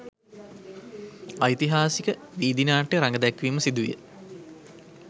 ඓතිහාසික ''වීදි නාට්‍ය'' රඟදැක්වීම සිදුවිය.